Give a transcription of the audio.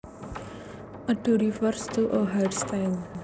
A do refers to a hairstyle